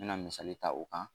Me na misali ta o kan